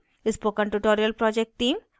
spoken tutorial project team